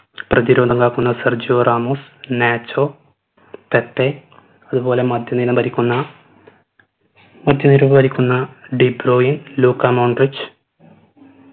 പ്രതിരോധം കാക്കുന്ന Sergio Ramos Nacho Pepe അത് പോലെ മധ്യ നിലം ഭരിക്കുന്ന മധ്യനിര ഭരിക്കുന്ന ഡിബ്രോയിൻ ലൂക്ക മോൺട്രിച്